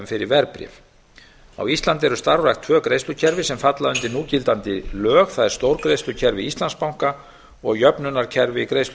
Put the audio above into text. fyrir verðbréf á íslandi eru starfrækt tvö greiðslukerfi sem falla undir núgildandi lög það er stórgreiðslukerfi íslandsbanka og jöfnunarkerfi